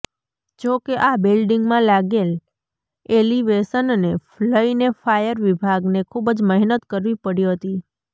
જોકે આ બિલ્ડિંગમાં લાગેલ એલિવેશનને લઇને ફાયર વિભાગને ખુબ જ મહેનત કરવી પડી હતી